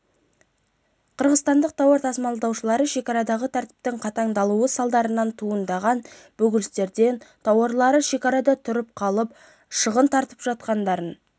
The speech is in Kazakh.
қырғызстандық тауар тасымалдаушылары шекарадағы тәртіптің қатаңдатылуы салдарынан туындаған бөгелістен тауарлары шекарада тұрып қалып шығын тартып жатқандарын